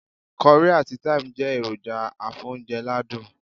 Currie àti Time jé èròjà afóúnje ládùn